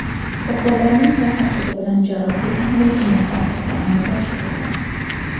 Shifokorlarning sa’y-harakati bilan jarrohlik amaliyoti muvaffaqiyatli amalga oshirilgan.